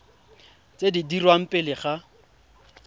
tse di dirwang pele ga